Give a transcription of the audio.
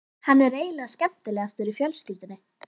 Hann er eiginlega skemmtilegastur í fjölskyldunni.